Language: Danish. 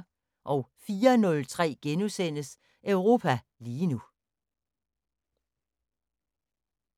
04:03: Europa lige nu *